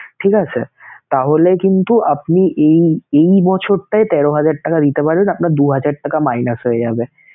ঠিক আছে তাহলে কিন্তু আপনি এই এই বছরটায় তেরো হাজার টাকা দিতে পারেন, আপনার দু হাজার টাকা minus হয়ে যাবে